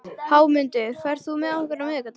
Hámundur, ferð þú með okkur á miðvikudaginn?